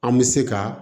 An bɛ se ka